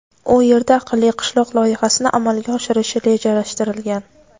u yerda "Aqlli qishloq" loyihasini amalga oshirish rejalashtirilgan.